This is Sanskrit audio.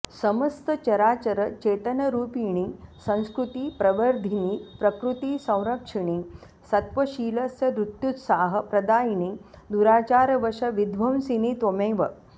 समस्त चराचर चेतनरुपिणि संस्कृति प्रवर्धिनि प्रकृति संरक्षिणि सत्वशीलस्य धृत्युत्साह प्रदायिनि दुराचार वश विध्वंसिनी त्वमेव